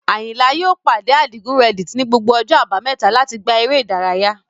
Ayinla yóò pàdé Adigun Reddit ní gbogbo ọjọ́ Àbámẹ́ta láti gbá eré ìdárayá.